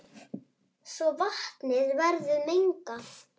svo vatnið verður mengað.